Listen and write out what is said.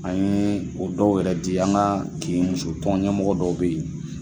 An ye o dɔw yɛrɛ di an ka kinmusotɔn ɲɛmɔgɔ dɔw bɛ ye.